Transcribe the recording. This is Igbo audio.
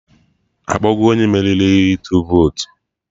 Akpọgo onye meriri ihe ịtụ votu